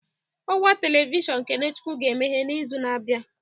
Ọwa telivishọn KeneChukwu ga-emeghe n'izu na-abịa